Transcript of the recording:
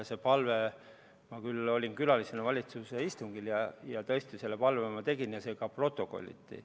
Ma küll olin külalisena valitsuse istungil ja tõesti selle palve tegin, see ka protokolliti.